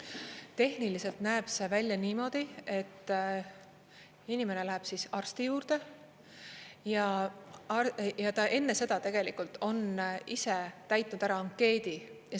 Tehniliselt näeb see välja niimoodi, et inimene läheb arsti juurde ja ta enne seda tegelikult on ise täitnud ära ankeedi.